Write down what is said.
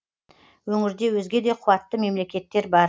өңірде өзге де қуатты мемлекеттер бар